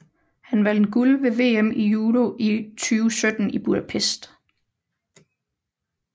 Han vandt guld ved VM i judo 2017 i Budapest